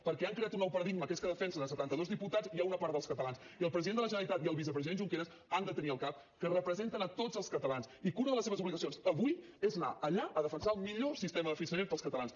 perquè han creat un nou paradigma que és que defensen setanta dos diputats i una part dels catalans i el president de la generalitat i el vicepresident junqueras han de tenir al cap que representen tots els catalans i que una de les seves obligacions avui és anar allà a defensar el millor sistema de finançament per als catalans